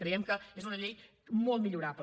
creiem que és una llei molt millorable